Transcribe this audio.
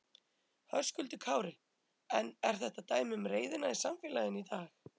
Höskuldur Kári: En er þetta dæmi um reiðina í samfélaginu í dag?